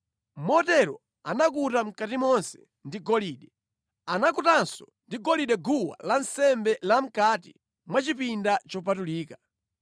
Motero anakuta mʼkati monse ndi golide. Anakutanso ndi golide guwa lansembe la mʼkati mwa chipinda chopatulika.